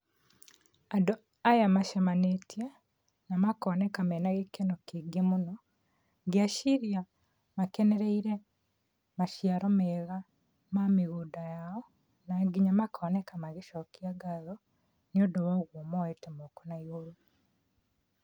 Andũ aya macamanĩtie na makoneka mena gĩkeno kĩingĩ mũno, ngeciria makenereire maciaro mega ma mĩgũnda yao na nginya makoneka magĩcokia ngatho, nĩũndũ wa ũguo moyene moko na igũrũ.